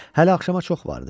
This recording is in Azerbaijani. Hələ axşama çox vardı.